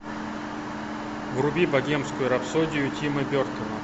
вруби богемскую рапсодию тима бертона